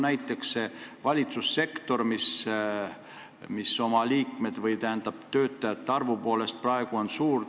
Näiteks, valitsussektor, mis oma töötajate arvu poolest on praegu suur.